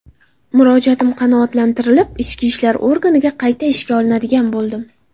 Murojaatim qanoatlantirilib, Ichki ishlar organiga qayta ishga olinadigan bo‘ldim.